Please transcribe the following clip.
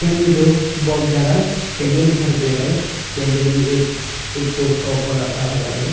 में जो बहुत ज्यादा कैंडल दिखाई दे रहा है कैंडन भी एक एक पोज का ऊपर रखा हुआ है।